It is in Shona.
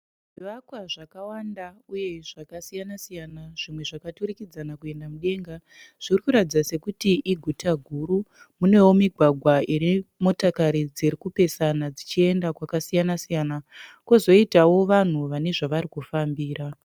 Zvivakwa zvakawanda uye zvakasiyana siyana zvimwe zvakaturikidzana kuenda mudenga. Zviri kuratidza sekuti iguta guru. Munewo migwagwa ine motokari dziri kupesaena dzichienda kwakasiyana siyana kozoitawo vanhu vane zvavari kufambira.